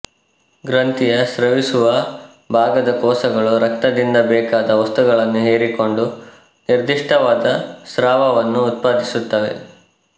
ಗ್ರಂಥಿಯ ಸ್ರವಿಸುವ ಭಾಗದ ಕೋಶಗಳು ರಕ್ತದಿಂದ ಬೇಕಾದ ವಸ್ತುಗಳನ್ನು ಹೀರಿಕೊಂಡು ನಿರ್ದಿಷ್ಟವಾದ ಸ್ರಾವವನ್ನು ಉತ್ಪಾದಿಸುತ್ತವೆ